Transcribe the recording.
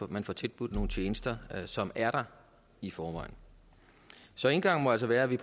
man får tilbudt nogle tjenester som er der i forvejen så indgangen må altså være at vi